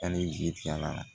Hali zi ti a la